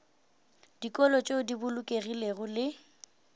dikolo tšeo di bolokegilego le